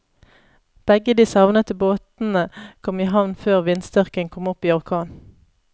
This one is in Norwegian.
Begge de savnede båtene kom i havn før vindstyrken kom opp i orkan.